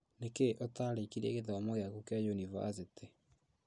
Nĩkĩĩ ũtarĩkirie gĩthomo gĩaku yunibathĩtĩ